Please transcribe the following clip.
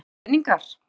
Eða peningar?